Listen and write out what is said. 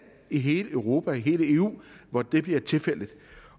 i hele europa i hele eu hvor det bliver tilfældet